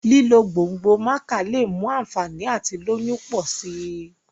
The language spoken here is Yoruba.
lílo gbòngbò maca lẹ mú ànfàní àti lóyún pọ si